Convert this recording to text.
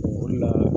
O de la